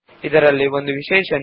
ಇದರಲ್ಲಿ ಒಂದು ವಿಶೇಷವಿದೆ